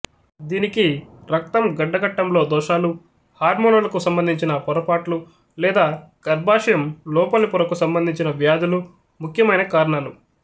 దీనికి రక్తం గడ్డకట్టంలో దోషాలు హార్మోనులకు సంబంధించిన పొరపాట్లు లేదా గర్భాశయంలోపలి పొరకు సంబంధించిన వ్యాధులు ముఖ్యమైన కారణాలు